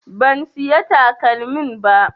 Ban siya takalmin ba